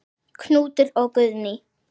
Knútur og Guðný.